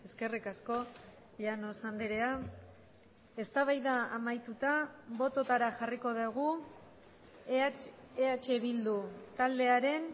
eskerrik asko llanos andrea eztabaida amaituta bototara jarriko dugu eh bildu taldearen